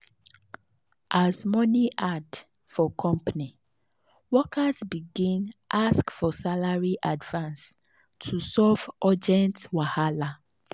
as money hard for company workers begin ask for salary advance to solve urgent wahala.